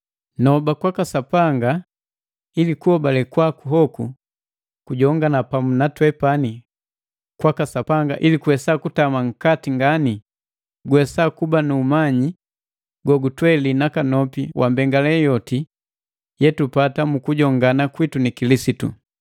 Noba kwaka Sapanga ili kuhobale kwaku hoku kogujongana pamu na twepani kwaka Sapanga ili kuwesa kutama nkati ngani guwesa kuba nu umanyi gogutweli nakanopi wa mbengale yoti yetupata mu kujongana kwitu ni Kilisitu.